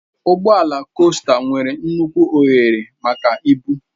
Ụgbọ ala costa nwere nnukwu ohere maka ibu.